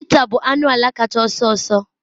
cheetah bụ anụ ala kacha ọsọ ọsọ